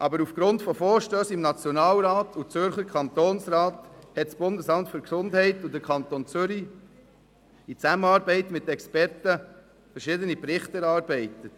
Aufgrund von Vorstössen im Nationalrat und im Zürcher Kantonsrat haben das Bundesamt für Gesundheit (BAG) sowie der Kanton Zürich in Zusammenarbeit mit Experten verschiedene Berichte erarbeitet.